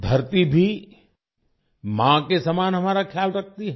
धरती भी माँ के समान हमारा ख्याल रखती है